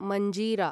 Manjira